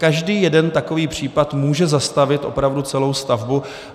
Každý jeden takový případ může zastavit opravdu celou stavbu.